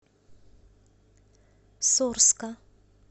сорска